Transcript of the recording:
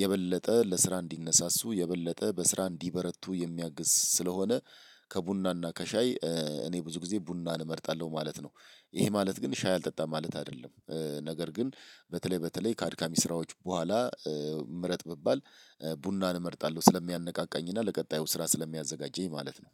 የበለጠ ለስራ እንዲነሳሱ የበለጠ በስራ እንዲበረቱ የሚያግዝ ስለሆነ። ከቡናና ከሻይ እኔ ብዙ ጊዜ ቡናን እመርጣለሁ ማለት ነው። ይሄ ማለት ግን ሻይ አልጠጣም ማለት አይደለም ነገር ግን በተለይ በተለይ ካድካሚ ስራዎች በኋላ። ምረጥ ብባል ቡናን እመርጣለሁ ስለሚያነቃቃኝ እና ለቀጣዩ ስራ ስለሚያዘጋጀኝ። ማለት ነው።